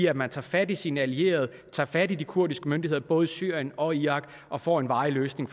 at man tager fat i sine allierede tager fat i de kurdiske myndigheder både i syrien og irak og får en varig løsning